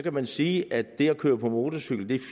man sige at det at køre på motorcykel